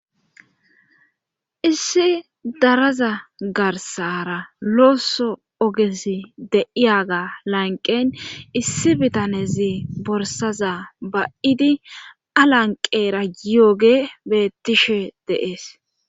issi daraza garsara looso ogesi deiyaga lanqen issi bitanezi borsaza ba7idi alanqeera yooge beettishe deees